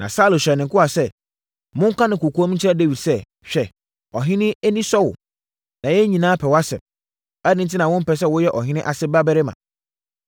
Na Saulo hyɛɛ ne nkoa sɛ, “Monka no kɔkoam nkyerɛ Dawid sɛ, ‘Hwɛ, ɔhene ani sɔ wo, na yɛn nyinaa pɛ wʼasɛm. Adɛn enti na wompɛ sɛ woyɛ ɔhene ase barima?’ ”